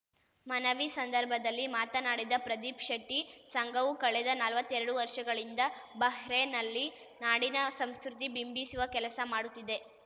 ಮನವಿ ಸಂದರ್ಭದಲ್ಲಿ ಮಾತನಾಡಿದ ಪ್ರದೀಪ್‌ ಶೆಟ್ಟಿ ಸಂಘವು ಕಳೆದ ನಲ್ವತ್ತೆರಡು ವರ್ಷಗಳಿಂದ ಬಹ್ರೇನ್‌ನಲ್ಲಿ ನಾಡಿನ ಸಂಸ್ಕೃತಿ ಬಿಂಬಿಸುವ ಕೆಲಸ ಮಾಡುತ್ತಿದೆ